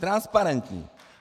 Transparentní.